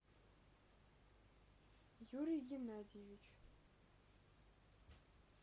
юрий геннадьевич